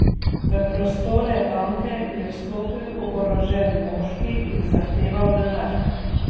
V prostore banke je vstopil oborožen moški in zahteval denar.